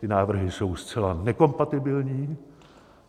Ty návrhy jsou zcela nekompatibilní.